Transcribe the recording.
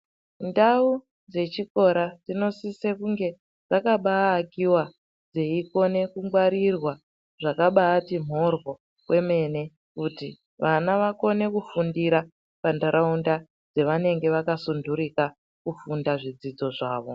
Ndau dzechikora dzinosise kunge dzakabaa akiwa dzeikone kungwarirwa zvakabaati mhoryo kwemene kuti vana vakone kufundira pantaraunda yavanenge vakasunturika kufunda zvidzidzo zvawo.